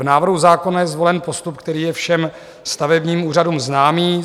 V návrhu zákona je zvolen postup, který je všem stavebním úřadům známý.